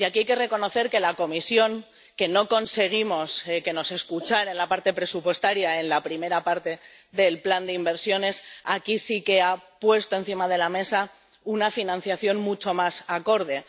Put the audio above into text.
Y aquí hay que reconocer que la Comisión, que no conseguimos que nos escuchara en la parte presupuestaria en la primera parte del plan de inversiones, aquí sí que ha puesto encima de la mesa una financiación mucho más acorde.